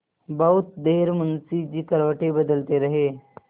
बहुत देर मुंशी जी करवटें बदलते रहे